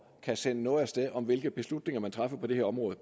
kan sende noget af sted om hvilke beslutninger man træffer på det her område